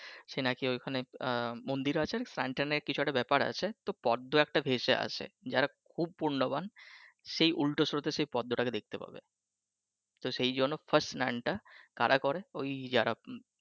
সে নাকি ওইখানে মন্দির আছে fountain এ কিছু একটা ব্যাপার আছে তো পদ্ম একটা ভেসে আসে যারা খুব পূর্ণবান সে উলটো স্রোতে পদ্মটাকে দেখতে পাবে তো সে জন্য first স্লানটা কারা করে ওই যারা